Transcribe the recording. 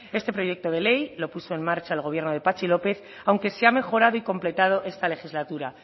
este proyecto de ley lo puso en marcha el gobierno de patxi lópez aunque se ha mejorado y completado esta legislatura